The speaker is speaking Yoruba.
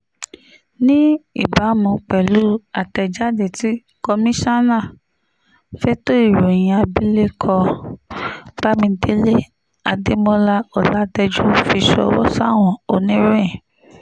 ní ìbámu pẹ̀lú àtẹ̀jáde tí komisanna fẹ̀tọ́ ìròyìn abilékọ bámidélé adémọlá-ọ̀làtẹ́jú fi ṣọwọ́ sáwọn oníròyìn